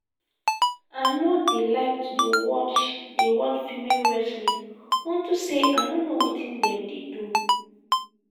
i no dey like to dey watch dey watch female wrestling unto say i no know wetin dem dey do